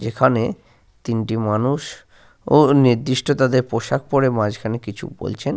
যেখানে তিনটি মানুষ ও নির্দিষ্ট তাদের পোশাক পরে মাঝখানে কিছু বলছেন।